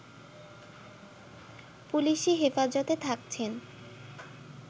পুলিসি হেফাজতে থাকছেন